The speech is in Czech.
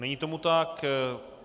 Není tomu tak.